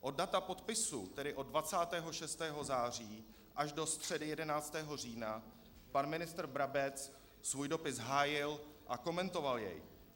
Od data podpisu, tedy od 26. září, až do středy 11. října pan ministr Brabec svůj dopis hájil a komentoval jej.